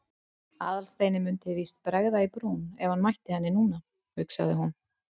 Aðalsteini mundi víst bregða í brún ef hann mætti henni núna, hugsaði hún.